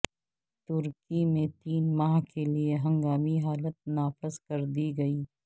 ترکی میں تین ماہ کے لیے ہنگامی حالت نافذ کر دی گئی